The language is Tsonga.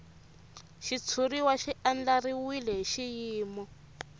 xitshuriwa xi andlariwile hi xiyimo